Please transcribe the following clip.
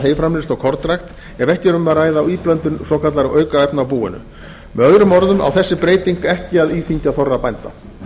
heyframleiðslu og kornrækt ef ekki er um að ræða íblöndun svokallaðra aukefna á búinu með öðrum orðum á þessi breyting ekki að íþyngja þorra bænda